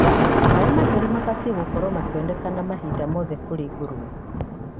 maĩ matheru mabatie gũkorwo makĩonekana mahinda mothe kũrĩ ngũrũwe